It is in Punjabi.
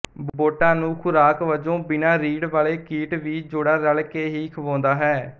ਬੋਟਾਂ ਨੂੰ ਖ਼ੁਰਾਕ ਵਜੋਂ ਬਿਨਾਂ ਰੀੜ੍ਹ ਵਾਲੇ ਕੀਟ ਵੀ ਜੋੜਾ ਰਲ਼ਕੇ ਹੀ ਖਵਾਉਂਦਾ ਹੈ